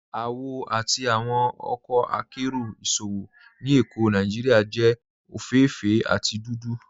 Awọ ti awọn ọkọ àkéró ìṣòwò ni Ékó Nàìjíríà jẹ ofééféè àti dúdú.